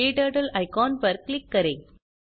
क्टर्टल icon पर click करें